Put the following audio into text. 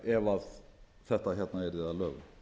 ef þetta hérna yrði að lögum